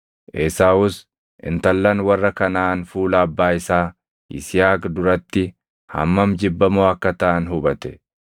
Esaawus intallan warra Kanaʼaan fuula abbaa isaa Yisihaaq duratti hammam jibbamoo akka taʼan hubate.